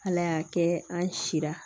Ala y'a kɛ an si la